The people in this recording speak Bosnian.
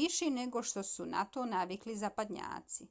više nego što su na to navikli zapadnjaci